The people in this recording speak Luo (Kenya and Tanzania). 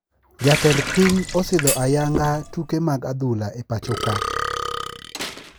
Jatend piny osidho ayanga tuke mag adhula e pacho kae